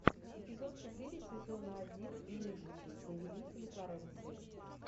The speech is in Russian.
эпизод четыре сезона один медичи повелители флоренции